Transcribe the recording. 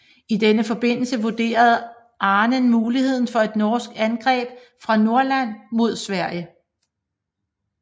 I denne forbindelse vurderede Ahnen muligheden for et norsk angreb fra Nordland mod Sverige